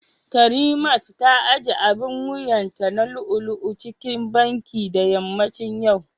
karimat ta ajiye abin wuyanta na lu'u-lu'u cikin Banki da yammacin yau